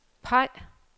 peg